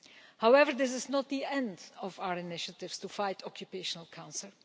However, this is not the end of our initiatives to fight occupational cancer.